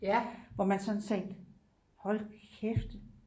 hvor man sådan tænkte hold kæft